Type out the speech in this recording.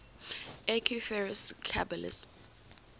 equus ferus caballus